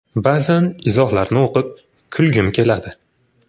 Ba’zan izohlarni o‘qib, kulgim keladi.